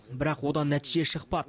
бірақ одан нәтиже шықпа